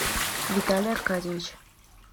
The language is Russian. виталий аркадьевич